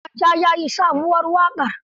Ado Gwanja ya yi sabuwar waƙa.